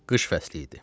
Qış fəsli idi.